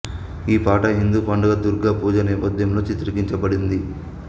ఈ పాట హిందూ పండుగ దుర్గా పూజ నేపథ్యంలో చిత్రీకరించబడింది